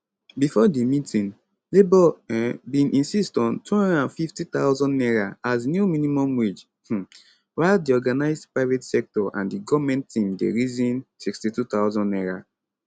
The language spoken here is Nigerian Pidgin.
before di meeting labour um bin insist on n250000 as new minimum wage um while di organised private sector and di goment team dey reason n62000